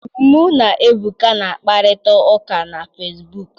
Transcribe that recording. Mụ na Ebuka na-akparịta ụka na fesibuuku.